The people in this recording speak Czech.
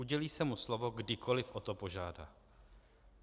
Udělí se mu slovo, kdykoliv o to požádá."